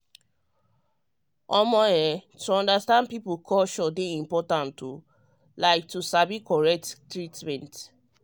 um to understand people culture dey important like to sabi the correct treatment.